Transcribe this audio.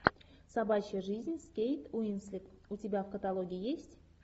собачья жизнь с кейт уинслет у тебя в каталоге есть